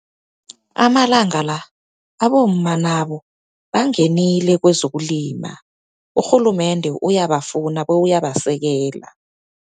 Amalanga la, abomma nabo bangenile kwezokulima. Urhulumende uyabafuna, bewuyabasekela.